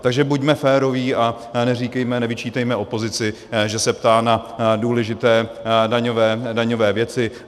Takže buďme féroví a neříkejme, nevyčítejme opozici, že se ptá na důležité daňové věci.